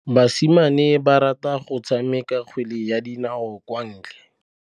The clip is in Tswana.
Basimane ba rata go tshameka kgwele ya dinaô kwa ntle.